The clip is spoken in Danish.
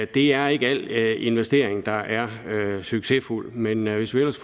det er ikke alt investering der er succesfuld men hvis ellers